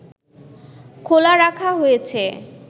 খোলা রাখা হয়েছে